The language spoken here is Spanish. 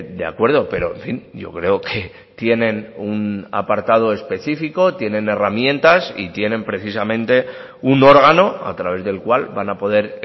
de acuerdo pero en fin yo creo que tienen un apartado específico tienen herramientas y tienen precisamente un órgano a través del cual van a poder